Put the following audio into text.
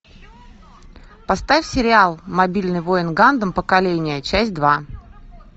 поставь сериал мобильный воин гандам поколение часть два